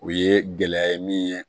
O ye gɛlɛya ye min ye